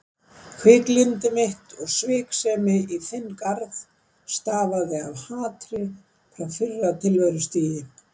Hviklyndi mitt og sviksemi í þinn garð stafaði af hatri frá fyrra tilverustigi.